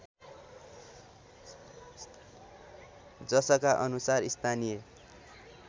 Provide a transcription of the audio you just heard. जसका अनुसार स्थानीय